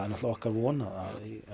okkar von að